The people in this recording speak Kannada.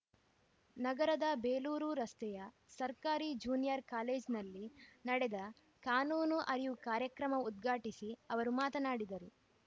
ನಗರದ ಬೇಲೂರು ರಸ್ತೆಯ ಸರ್ಕಾರಿ ಜೂನಿಯರ್‌ ಕಾಲೇಜಿನಲ್ಲಿ ನಡೆದ ಕಾನೂನು ಅರಿವು ಕಾರ್ಯಕ್ರಮ ಉದ್ಘಾಟಿಸಿ ಅವರು ಮಾತನಾಡಿದರು